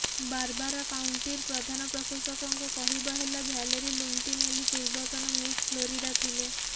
Barbara କାଉଣ୍ଟିର ପ୍ରଧାନ ପ୍ରଶାସକଙ୍କ କହିବା ହେଲା ଭ୍ୟାଲେରି ଲୁଣ୍ଡିନ୍ ଏଲି ପୂର୍ବତନ ମିସ୍ ଫ୍ଲୋରିଡା ଥିଲେ